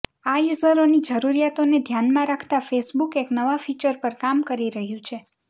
આ યૂઝરોની જરૂરીયાતોને ધ્યાનમાં રાખતા ફેસબુક એક નવા ફીચર પર કામ કરી રહ્યું છે